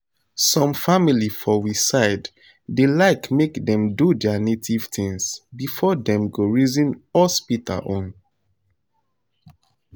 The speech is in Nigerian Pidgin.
some family for we side da like make dem do their native things before them go reason hospital own